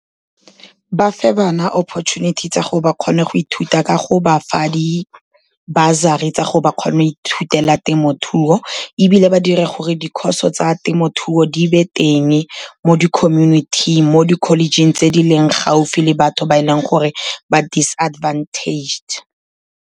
Ba fe bana opportunity tsa gore ba kgone go ithuta ka go bafa di-bursary tsa gore ba kgone go ithutele temothuo. Ebile ba dire gore di-course tsa temothuo di nne teng, mo di-community-ing, mo di-college-ing tse di leng gaufi le batho ba e leng gore ba disadvantaged.